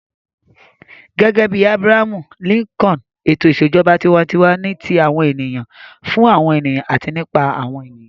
Gẹ́gẹ́ bí Abraham Lincoln, ètò ìṣèjọba tiwantiwa ni ti àwọn ènìyàn, fún àwọn ènìyàn àti nípa àwọn ènìyàn.